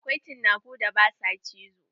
Akwai cinakun da ba sua cizo.